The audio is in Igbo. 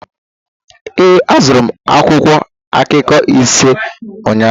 Ee, azụrụ m akwụkwọ akụkọ ise ụnyaahụ